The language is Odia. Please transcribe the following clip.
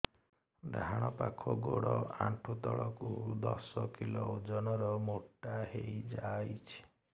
ଡାହାଣ ପାଖ ଗୋଡ଼ ଆଣ୍ଠୁ ତଳକୁ ଦଶ କିଲ ଓଜନ ର ମୋଟା ହେଇଯାଇଛି